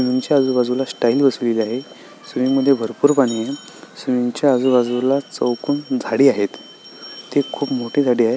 Swimming च्या आजूबाजूला tiles बसवलेले आहेत स्विमिंग मध्ये भरपुर पाणी आहे स्विमिंग च्या आजूबाजूला चौकोन झाडी आहेत ते खुप मोठी झाडी आहेत.